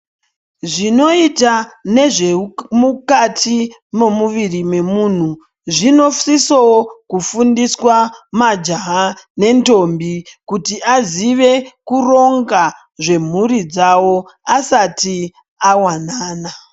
Zvinoita nezvemukati momuviri memunhu, zvinosisowo kufundiswa majaha nendombi, kuti azive kuronga zvemhuri dzawo asati awanana.